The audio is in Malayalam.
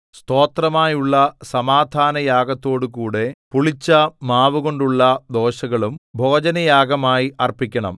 സ്തോത്രമായുള്ള സമാധാനയാഗത്തോടുകൂടെ പുളിച്ച മാവുകൊണ്ടുള്ള ദോശകളും ഭോജനയാഗമായി അർപ്പിക്കണം